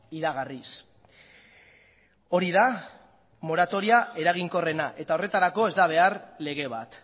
iragarriz hori da moratoria eraginkorrena eta horretarako ez da behar lege bat